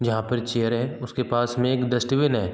जहाँ पर चेयर है उसके पास में एक डस्टबिन है।